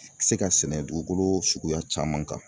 Se ka sɛnɛ dugukolo suguya caman kan.